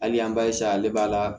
Hali an b'a ale b'a la